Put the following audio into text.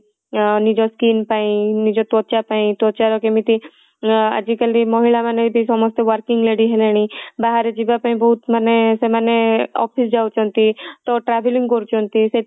ଅଁ ନିଜ skin ପାଇଁ, ନିଜ ତ୍ୱଚା ପାଇଁ ତ୍ୱଚା ର କେମିତି ଅଁ ଆଜି କାଲି ମହିଳା ମାନେ ସମସ୍ତେ working lady ହେଲେଣି ବାହାରେ ଯିବା ପାଇଁ ମାନେ ବହୁତ ମାନେ ସେମାନେ office ଯାଉଛନ୍ତି ତ travelling କରୁଛନ୍ତି